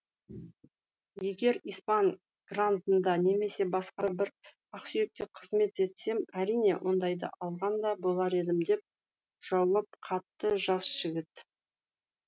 егер испан грандында немесе басқа бір ақсүйекте қызмет етсем әрине ондайды алған да болар едім деп жауап қатты жас жігіт